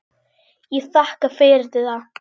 Ég þakka fyrir það.